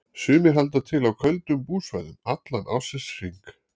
Sumir halda til á köldum búsvæðum allan ársins hring.